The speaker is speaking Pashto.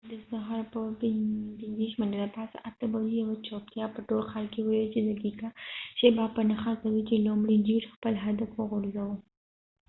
د سهار په ۸:۴۶ بجو یوه چوپتیا په ټول ښار کې ولوید، چې دقیقه شیبه په نښه کوي چې لومړۍ جیټ خپل هدف وغورځوه